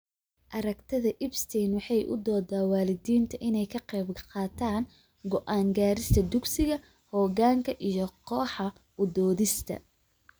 Aragtida Epstein waxay u dooddaa waalidiinta inay ka qaybqaataan go'aan gaarista dugsiga, hoggaanka iyo kooxaha u doodista.